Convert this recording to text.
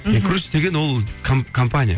инкрузес деген ол компания